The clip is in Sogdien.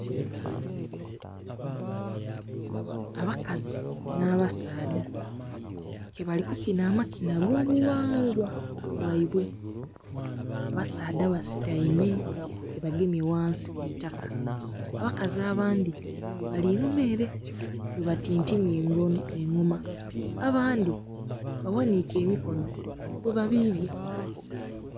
Abakazi na abasaadha ke bali kukinha amakinha ago bughangwa bwaibwe, abasaadha basutaime ke bagemye ghansi ku itaka, abakazi abandhi bali inhuma ere bwe batintimya engoma abandhi baghanhike emikono bwe babibya.